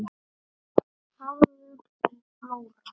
Hafður til blóra?